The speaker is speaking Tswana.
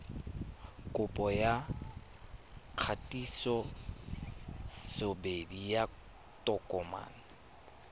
kopo ya kgatisosebedi ya tokomane